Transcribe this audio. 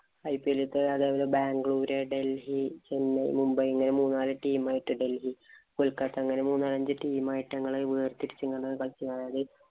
IPL ലത്തെ അവരത് ബാംഗ്ലൂര്, ഡല്‍ഹി, ചെന്നൈ, മുംബൈ ഇങ്ങനെ മൂന്നാല് team ആയിട്ട് ഡല്‍ഹി കൊല്‍ക്കത്ത അങ്ങനെ മൂന്നാലഞ്ച് team ആയിട്ട് ഞങ്ങളെ വേര്‍തിരിച്ചു ഇങ്ങനെ കളിച്ച